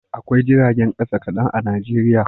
Akwai jiragen kasa kadan a Najeriya